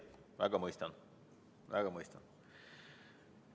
Selle eelnõu eesmärki ma väga mõistan.